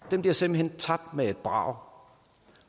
den bliver simpelt hen tabt med et brag